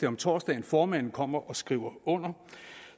om torsdagen formanden kommer og skriver under